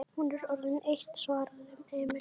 Hún er orðin eitt, svaraði Emil.